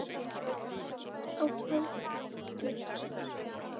á hádegi.